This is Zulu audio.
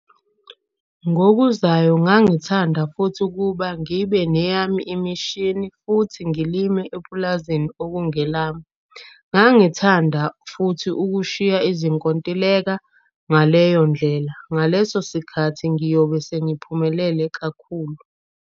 Ngokuzayo ngingathanda futhi ukuba ngibe neyami imishini futhi ngilime epulazini okungelami. Ngingathanda futhi ukushiya izinkontileka - ngaleyo ndlela, ngaleso sikhati ngiyobe sengiphumelele kakhulu.